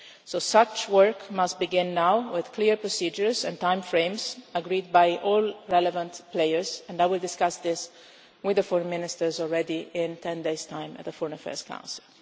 So such work must begin now with clear procedures and timeframes agreed by all relevant players and I will discuss this with the Foreign Ministers already in 10 days' time at the Foreign Affairs Council.